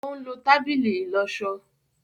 òún ló tábìlì ìlósó